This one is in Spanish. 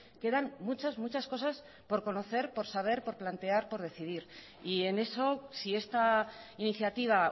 quedan muchas muchas cosas por conocer por saber por plantear por decidir y en eso si esta iniciativa